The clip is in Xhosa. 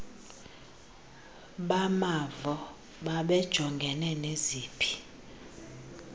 bamavo babejongene neziphi